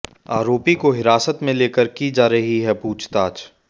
आरोपी को हिरासत में लेकर की जा रही पूछताछ